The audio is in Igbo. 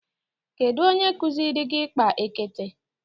Kedu onye kuziri gi ikpa ekete?